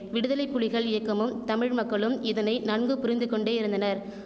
விடுதலை புலிகள் இயக்கமும் தமிழ்மக்களும் இதனை நன்குபுரிந்து கொண்டேயிருந்தனர்